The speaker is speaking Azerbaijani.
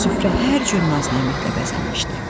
Süfrə hər cür naz-nemətlə bəzənmişdi.